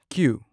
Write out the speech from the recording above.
Q